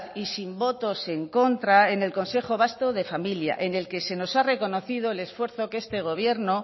y sin votos en contra en el consejo vasco de familias en el que se nos ha reconocido el esfuerzo que este gobierno